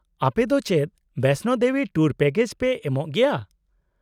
-ᱟᱯᱮᱫᱚ ᱪᱮᱫ Vaishno Devi tour package ᱯᱮ ᱮᱢᱚᱜ ᱜᱮᱭᱟ ?